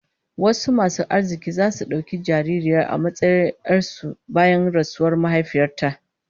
Wasu masu arziki zasu dauki jaririyar a matsayin 'yar su bayan rasuwar mahaifiyar ta